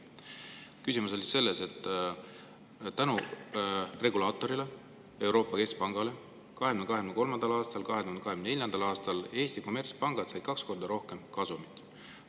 Küsimus on selles, et tänu regulaatorile, Euroopa Keskpangale, said Eesti kommertspangad 2023. ja 2024. aastal kaks korda rohkem kasumit.